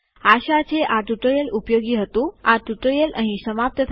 આશા છે આ ટ્યુટોરીઅલ ઉપયોગી હતું અહીં આ ટ્યુટોરીયલ સમાપ્ત થાય છે